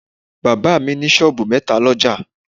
Bàbá mi ní sọ́ọ̀bù metaa l'ọ́jà